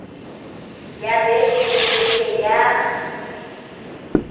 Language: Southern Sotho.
ya beke le beke ya